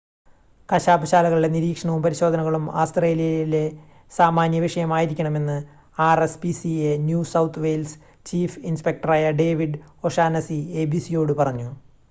കശാപ്പ് ശാലകളുടെ നിരീക്ഷണവും പരിശോധനകളും ആസ്ത്രേലിയയിലെ സാമാന്യ വിഷയം ആയിരിക്കണമെന്ന് rspca New South Wales chief ഇൻസ്പെക്ടറായ ഡേവിഡ് ഓഷാനസി abc യോട് പറഞ്ഞു